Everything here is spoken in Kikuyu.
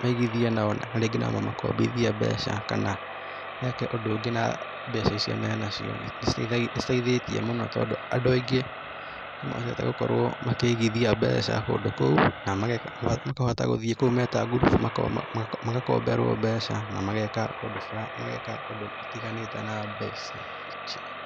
maigithie nao na rĩngĩ nao mamakombithie mbeca kana meke ũndũ ũngĩ na mbeca icio menacio. Nĩ citeithĩtie mũno tondũ andũ aingĩ nĩ mendete gũkorũo makĩigithia mbeca kũndũ kũu na makahota gũthiĩ kũu me ta ngurubu, magakomberwo mbeca, na mageeka ũndũ fulani, mageeka ũndũ ũtiganĩte na mbeca icio.